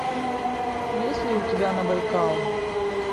есть ли у тебя на байкал